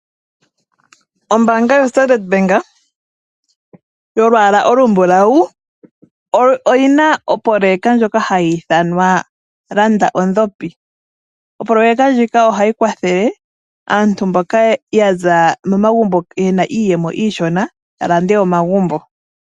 Ombaanga ya Standard Ombaanga ndjoka ombulawu oyina opoyeka ndjoka hayi ithanwa landa ondhopi. Opoyeka ndjika ohayi kwathele aantu mboka yaza momagumbo yena iiyemo iishona ya lande omagumbo